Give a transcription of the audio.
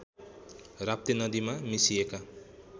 राप्ती नदीमा मिसिएका